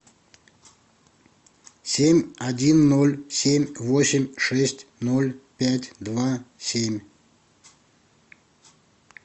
семь один ноль семь восемь шесть ноль пять два семь